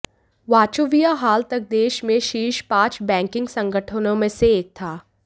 Wachovia हाल तक देेश में शीर्ष पांच बैंकिंग संगठनों में से एक था